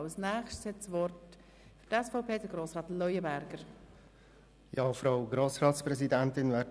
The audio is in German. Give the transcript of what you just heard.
Als Nächster hat Grossrat Leuenberger das Wort für die SVP.